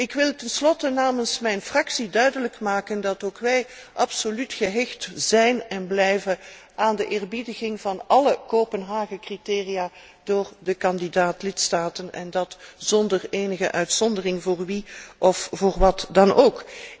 Ik wil tenslotte namens mijn fractie duidelijk maken dat ook wij absoluut gehecht zijn en blijven aan de eerbiediging van alle Kopenhagen criteria door de kandidaat lidstaten, zonder enige uitzondering voor wie of wat dan ook.